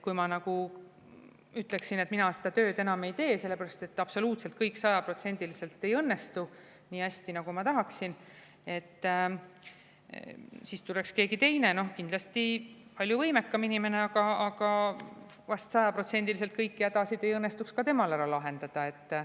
Kui ma ütleksin, et mina seda tööd enam ei tee, sellepärast et absoluutselt, sajaprotsendiliselt kõik ei õnnestu nii hästi, nagu ma tahaksin, siis tuleks keegi teine, kindlasti palju võimekam inimene, aga vahest sajaprotsendiliselt kõiki hädasid ei õnnestuks ka temal lahendada.